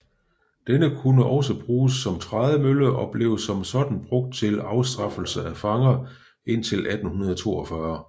Den kunne også bruges som trædemølle og blev som sådan brugt til afstraffelse af fanger indtil 1842